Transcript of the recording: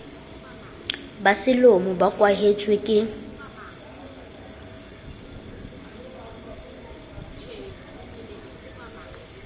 ba selomo bo kwahetswe ke